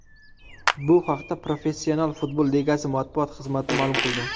Bu haqda Professional futbol ligasi matbuot xizmati ma’lum qildi.